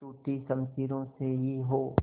टूटी शमशीरों से ही हो